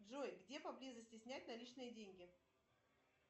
джой где поблизости снять наличные деньги